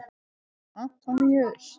Antoníus